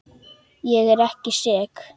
Ég er ekki sek.